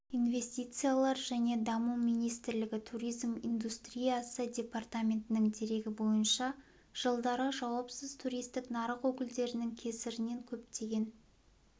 инвестициялар және даму министрлігі туризм индустриясы департаментінің дерегі бойынша жылдары жауапсыз туристік нарық өкілдерінің кесірінен көптеген